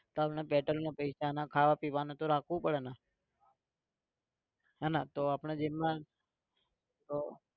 પેટ્રોલના પૈસા ખાવા પીવાના તો રાખવું પડેને હે ને તો આપણે જેબમાં તો